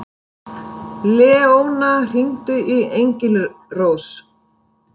Leóna, hringdu í Engilrós.